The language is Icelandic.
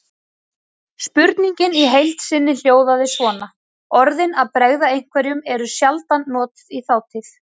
Spurningin í heild sinni hljóðaði svona: Orðin að bregða einhverjum eru sjaldan notuð í þátíð.